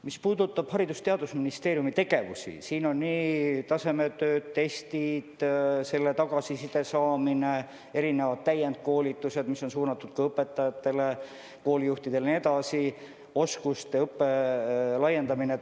Mis puudutab Haridus- ja Teadusministeeriumi tegevust, siis on tasemetööd, testid, selle tagasiside saamine, erinevad täienduskoolitused, mis on suunatud õpetajatele ja koolijuhtidele, oskuste õppe laiendamine.